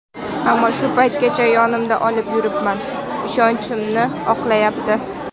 Ammo shu paytgacha yonimda olib yuribman, ishonchimni oqlayapti.